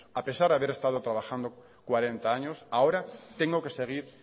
a pesar de haber estado trabajando cuarenta años ahora tengo que seguir